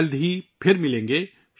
جلد ہی دوبارہ ملیں گے